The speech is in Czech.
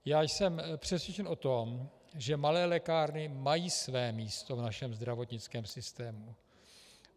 Já jsem přesvědčen o tom, že malé lékárny mají své místo v našem zdravotnickém systému.